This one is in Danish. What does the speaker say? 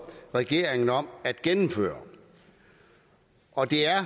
regeringen om at gennemføre og det er